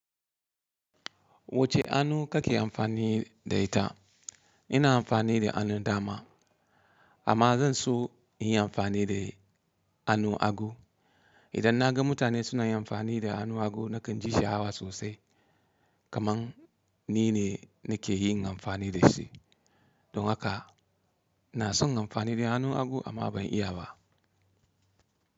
Wacce anu kake amfani da ita? Ina amfani da anun dama amma zan so in yi amfani da anun agu. Idan naga mutane suna yin amfani da anu agu nakan ji sha'awa sosai kamar nine nakeyin amfani da shi. Don haka ina son in yi amfani da anu agu amma ban iya ba.